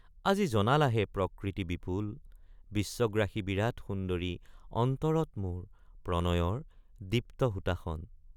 আজি জনালাহে প্ৰকৃতি বিপুল বিশ্বগ্ৰাসী বিৰাট সুন্দৰি অন্তৰত মোৰ প্ৰণয়ৰ দীপ্ত হুতাসন।